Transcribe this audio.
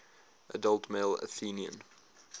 adult male athenian